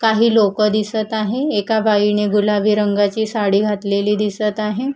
काही लोकं दिसत आहे एका बाईने गुलाबी रंगाची साडी घातलेली दिसतं आहे.